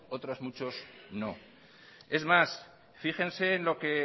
otros muchos no es más fíjense en lo que